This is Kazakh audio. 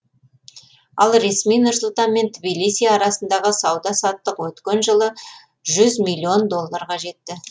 ал ресми нұр сұлтан мен тбилиси арасындағы сауда саттық өткен жылы жүз миллион долларға жетті